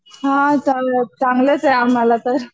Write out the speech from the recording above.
हा चांगलच आहे आम्हाला तर